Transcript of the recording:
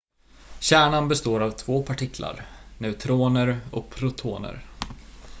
kärnan består av två partiklar neutroner och protoner